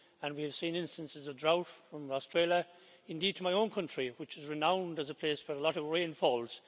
We have seen instances of drought from Australia indeed to my own country, which is renowned as a place for a lot of rainfalls.